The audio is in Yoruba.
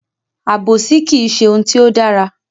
Àbòsí kìí ṣe ohun tí ó dára.